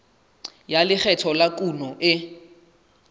ya lekgetho la kuno e